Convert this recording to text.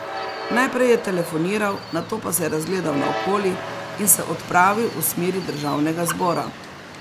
Najprej je telefoniral, nato pa se je razgledal naokoli in se odpravil v smeri državnega zbora.